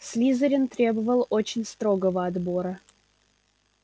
слизерин требовал очень строгого отбора